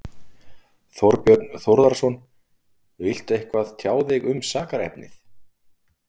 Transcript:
Þorbjörn Þórðarson: Viltu eitthvað tjá þig um sakarefnið?